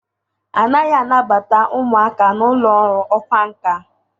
A naghị anabata ụmụaka na ụlọ ọrụ ọkwá nkà.